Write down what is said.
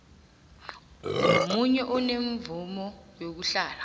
nomunye onemvumo yokuhlala